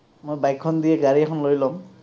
মই bike খন দি গাড়ী এখন লৈ ল’ম।